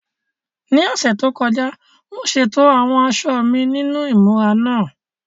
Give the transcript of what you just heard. Ní ọ̀sẹ̀ tó kọjá, mo ṣètò àwọn aṣọ mi nínú ìmúra náà.